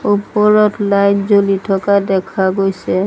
ওপৰত লাইট জ্বলি থকা দেখা গৈছে।